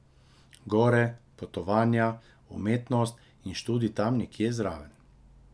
Gore, potovanja, umetnost in študij tam nekje zraven.